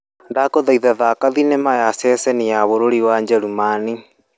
Ndagũthaitha thaka thinema ya ceceni ya bũrũri wa njerumani.